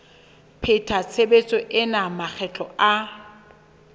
pheta tshebetso ena makgetlo a